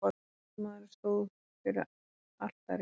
Ungi maðurinn stóð fyrir altari.